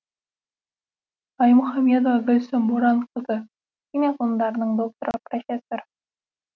аймұхамедова гүлсім боранқызы химия ғылымдарының докторы профессор